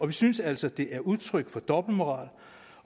vi synes altså det er udtryk for dobbeltmoral